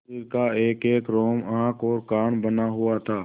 शरीर का एकएक रोम आँख और कान बना हुआ था